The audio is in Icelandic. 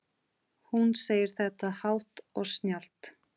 Hún segir þetta hátt og snjallt.